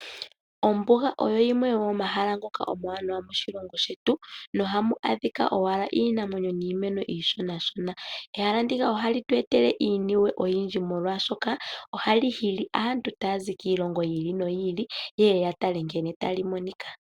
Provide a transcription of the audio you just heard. Ombuga oyo yimwe yomomahala ngoka omawanawa moshilongo shetu , na oha mu adhika owala iinamwenyo niimeno iishonashona, ehala ndika ohali tu etele iiniwe oyindji molwashoka, ohali hili aantu taya zi kiilongo yi ili noyi ili ye ye ya tale nkene tali monika.